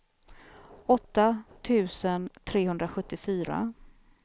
åtta tusen trehundrasjuttiofyra